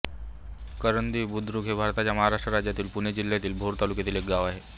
करंदी बुद्रुक हे भारताच्या महाराष्ट्र राज्यातील पुणे जिल्ह्यातील भोर तालुक्यातील एक गाव आहे